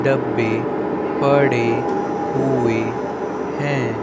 डब्बे पड़े हुए हैं।